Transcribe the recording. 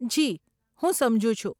જી, હું સમજુ છું.